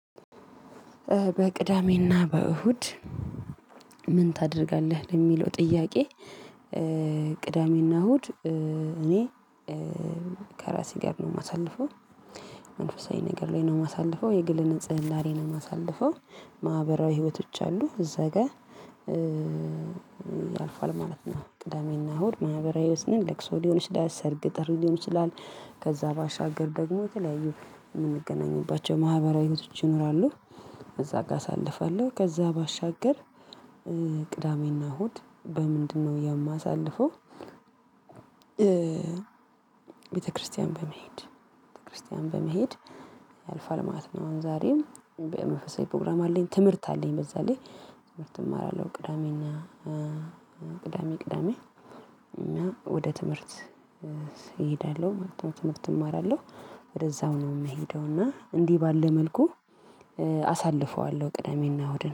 በቅዳሜ እና በእሁድ ምን ታደርጋለህ ለሚለው ጥያቄ? ቅዳሜ እና እሁድ እኔ ከራሴ ጋር ነው የማሳልፈው። መንፈሳዊ ነገር ላይ ነው ማሳልፈው የግል ንጽህና ላይ ነው ማሳልፈው። ማህበራዊ ህይወቶች አሉ እዛ ጋር ያልፋል ማለት ነው። ቅዳሜ እና እሁድ ማህበራዊ ህይወት ነን ለቅሶ ሊሆን ይችላል ሰርግ ጥሪ ሊሆን ይችላል። ከዛ ባሻገር ደግሞ የተለያዩ የምንገናኝባቸው ማህበራዊ ህይወቶች ይኖራሉ። እዛ ጋር አሳልፋለው ከዛ ባሻገር ቅዳሜ እና እሁድ በምንድን ነው የማሳልፈው? ቤተክርስቲያን በመሄድ ቤተክርስቲያን በመሄድ ያልፋል ማለት ነው። አሁን ዛሬም በመንፈሳዊ ፕሮግራም አለኝ ትምህርት አለኝ በዛ ላይ። ትምህርት እማራለሁ ቅዳሜ እና ቅዳሜ ቅዳሜ እና ወደ ትምህርት እሄዳለሁ ማለት ነው። ትምህርት እማራለሁ። ወደዛው ነው የምሄደው እና እንዲህ ባለ መልኩ አሳልፈዋለሁ ቅደሜ እና እሁድን።